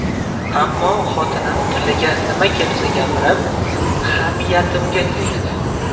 Ammo xotinim tiliga nima kelsa gapirib, hamiyatimga tegdi.